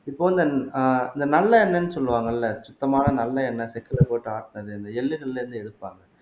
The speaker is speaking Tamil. இப்ப வந்து ஆஹ் இந்த நல்லெண்ணெய்ன்னு சொல்லுவாங்க இல்ல சுத்தமான நல்லெண்ணெய் செக்குல போட்டு ஆட்டுனது இந்த எள்ளுகள்ல இருந்து எடுப்பாங்க